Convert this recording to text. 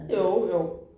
Jo jo